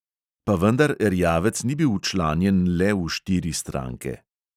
Pa vendar erjavec ni bil včlanjen "le" v štiri stranke.